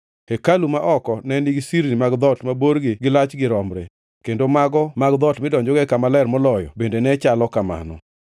Hekalu ma oko ne nigi sirni mag dhoot ma borgi gi lachgi romre, kendo mago mag dhoot midonjogo e Kama Ler Moloyo bende ne chalo kamano.